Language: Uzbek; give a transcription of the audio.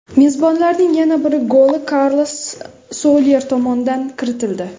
Mezbonlarning yana bir goli Karlos Solyer tomonidan kiritildi.